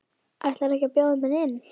Ætlarðu ekki að bjóða mér inn?